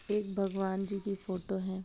एक भगवान जी की फोटो है।